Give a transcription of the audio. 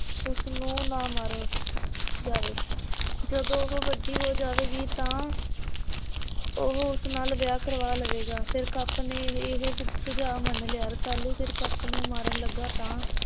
ਉਸ ਨੂੰ ਨਾ ਮਾਰੇ ਜਾਵੇ। ਜਦੋ ਉਹੋ ਵੱਡੀ ਹੋ ਜਾਵੇਗੀ ਤਾਂ ਉਹੋ ਉਸ ਨਾਲ ਵਿਆਹ ਕਰਵਾ ਲਵੇਗਾ। ਸਿਰਕਪ ਨੇ ਇਹੈ ਸੂਝਾ ਮਨ ਲਿਆ। ਰਸਾਲੂ ਸਿਰਕਪ ਨੂੰ ਮਾਰਨ ਲੱਗਾ ਤਾਂ